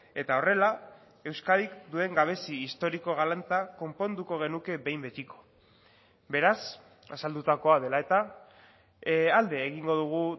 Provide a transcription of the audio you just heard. eta horrela euskadik duen gabezi historiko galanta konponduko genuke behin betiko beraz azaldutakoa dela eta alde egingo dugu